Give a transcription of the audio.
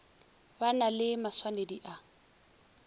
ba na le maswanedi a